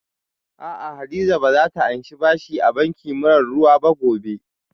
Aa, Hadiza ba za ta anshi bashi a banki mara ruwa ba gobe